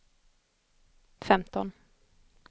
femton